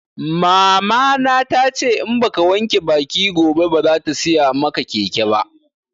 Mama na tace in baka wanke baki gobe ba bazata siya maka keke ba